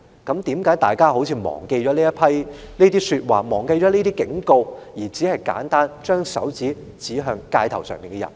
為何大家好像忘記了這些說話和警告，只是簡單地把手指指向街頭的人？